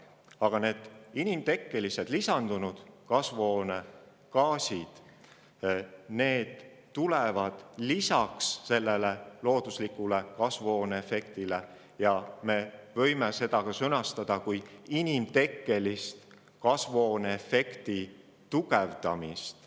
Aga need inimtekkelised lisandunud kasvuhoonegaasid tulevad lisaks looduslikule kasvuhooneefektile ja me võime seda sõnastada kui inimtekkelist kasvuhooneefekti tugevdamist.